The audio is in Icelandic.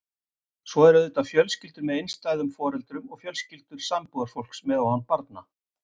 Svo eru auðvitað fjölskyldur með einstæðum foreldrum og fjölskyldur sambúðarfólks með og án barna.